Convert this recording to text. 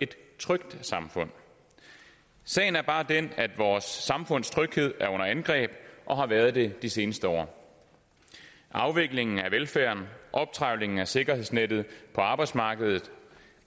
et trygt samfund sagen er bare den at vores samfunds tryghed er under angreb og har været det de seneste år afviklingen af velfærden optrevlingen af sikkerhedsnettet på arbejdsmarkedet og